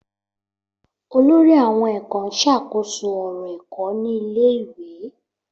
Olórí àwon èkó n ṣàkóso òrò ẹ́kọ́ ni ilé ìwé